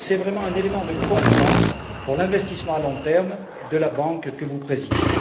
C'est vraiment un élément de confiance pour l'investissement à long terme de la banque que vous présidez.